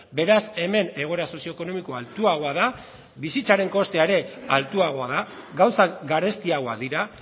beraz hemen egoera sozioekonomikoa altuagoa da bizitzaren kostea ere altuagoa da gauzak garestiagoak dira